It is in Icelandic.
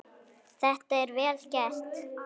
Þetta er vel gert.